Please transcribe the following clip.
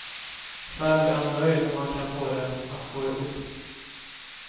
Själv är han nöjd om han kan få det att gå ihop.